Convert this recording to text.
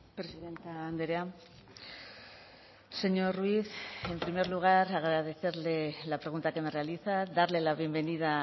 presidente andrea señor ruiz en primer lugar agradecerle la pregunta que me realiza darle la bienvenida